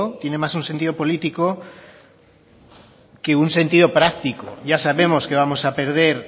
tiene más un sentido político que un sentido práctico ya sabemos que vamos a perder